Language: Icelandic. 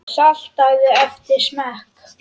Saltaðu eftir smekk.